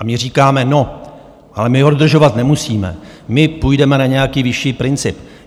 A my říkáme, no ale my ho dodržovat nemusíme, my půjdeme na nějaký vyšší princip.